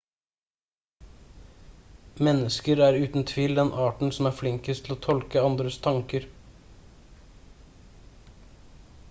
mennesker er uten tvil den arten som er flinkest til å tolke andres tanker